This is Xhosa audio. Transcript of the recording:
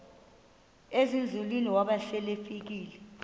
ezinzulwini waba selefika